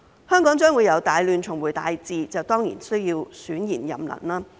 香港將會由"大亂"重回"大治"，當然需要選賢任能。